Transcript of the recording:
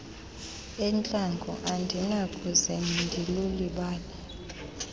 entlango andinakuze ndilulibale